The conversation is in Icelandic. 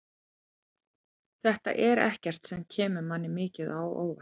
Þetta er ekkert sem kemur manni mikið á óvart.